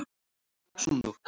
Svona nú.